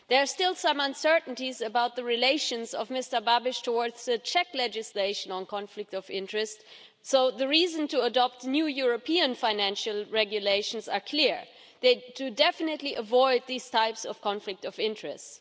There are still some uncertainties about the relation of Mr Babiš towards the Czech legislation on conflict of interest, so the reasons to adopt new European financial regulations are clear to definitely avoid these types of conflict of interests.